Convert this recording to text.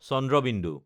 ঁ